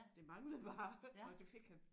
Det manglede bare og det fik han